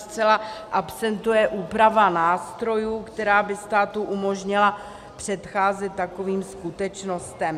Zcela absentuje úprava nástrojů, která by státu umožnila předcházet takovým skutečnostem.